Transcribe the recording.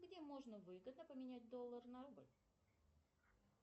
где можно выгодно поменять доллар на рубль